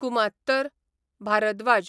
कुमात्तर, Bhardwaj